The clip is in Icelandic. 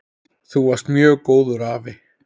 Þú varst mjög góður afi.